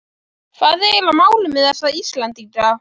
Hvað er eiginlega málið með þessa Íslendinga?